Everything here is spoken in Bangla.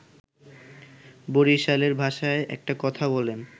বরিশালের ভাষায় একটা কথা বলেন